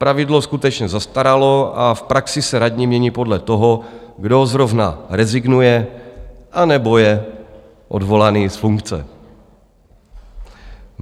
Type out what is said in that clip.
Pravidlo skutečně zastaralo a v praxi se radní mění podle toho, kdo zrovna rezignuje nebo je odvolaný z funkce.